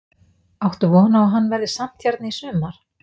Áttu von á að hann verði samt hérna í sumar?